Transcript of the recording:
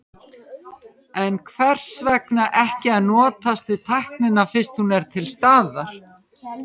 En hvers vegna ekki að notast við tæknina fyrst hún er til staðar?